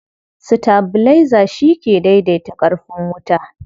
Sitabilaiza shi ke daidaita ƙarfin wuta.